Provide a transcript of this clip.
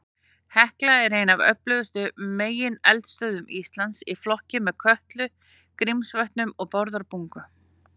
Hekla er ein af öflugustu megineldstöðvum Íslands, í flokki með Kötlu, Grímsvötnum og Bárðarbungu.